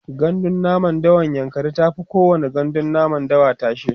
gandun namun dawan yankari tafi kowani gandun namun dawa tashe